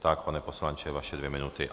Tak, pane poslanče, vaše dvě minuty.